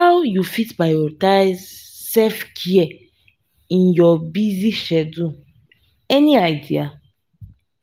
how you fit prioritize self-care in your busy schedule any idea?